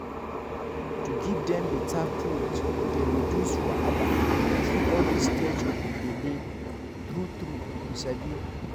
to give dem better food dey reduce wahala through all the stage of the bele true true you sabi